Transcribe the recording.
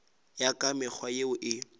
ya ka mekgwa yeo e